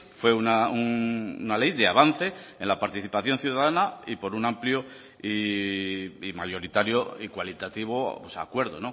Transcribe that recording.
fue una ley de avance en la participación ciudadana y por un amplio y mayoritario y cualitativo acuerdo